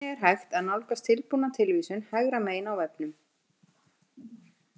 Einnig er hægt að nálgast tilbúna tilvísun hægra megin á vefnum.